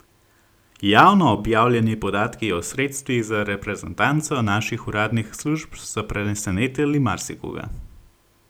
Javno objavljeni podatki o sredstvih za reprezentanco naših uradnih služb so presenetili mariskoga.